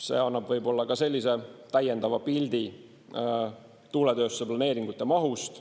See annab võib-olla ka täiendava pildi tuuletööstuse planeeringute mahust.